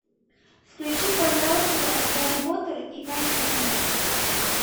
включи пожалуйста гарри поттер и тайная комната